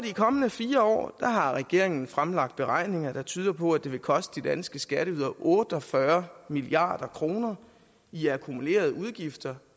de kommende fire år har regeringen fremlagt beregninger der tyder på at det vil koste de danske skatteydere otte og fyrre milliard kroner i akkumulerede udgifter